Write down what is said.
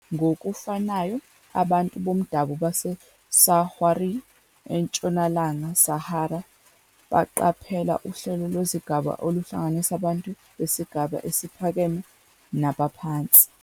Ngokufanayo, abantu bomdabu baseSahrawi eNtshonalanga Sahara baqaphela uhlelo lwezigaba oluhlanganisa abantu besigaba esiphakeme nabaphansi.